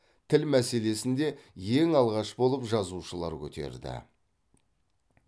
тіл мәселесін де ең алғаш болып жазушылар көтерді